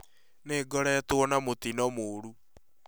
Nĩ ngoretwo na mutino mũrũ